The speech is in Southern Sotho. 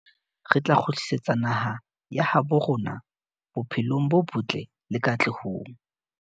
Re tla kgutlisetsa naha ya habo rona bophelong bo botle le katlehong.